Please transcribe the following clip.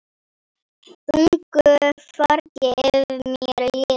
Þungu fargi af mér létt.